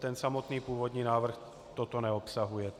Ten samotný původní návrh toto neobsahuje.